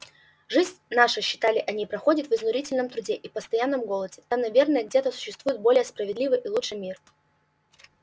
жизнь наша считали они проходит в изнурительном труде и постоянном голоде там наверно где-то существует более справедливый и лучший мир